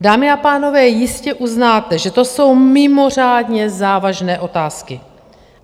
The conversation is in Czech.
Dámy a pánové, jistě uznáte, že to jsou mimořádně závažné otázky.